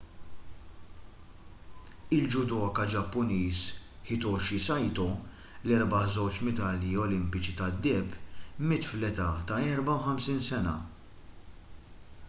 il-judoka ġappuniż hitoshi saito li rebaħ żewġ medalji olimpiċi tad-deheb miet tal-età ta' 54 sena